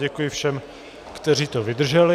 Děkuji všem, kteří to vydrželi.